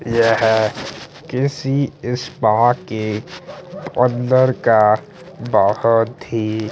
यहाँ किसी स्पा के अंदर का बहुत ही--